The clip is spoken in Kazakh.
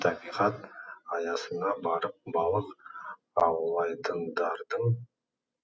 табиғат аясына барып балық аулайтындардың